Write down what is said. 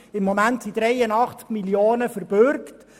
Im Moment sind 83 Mio. Franken verbürgt.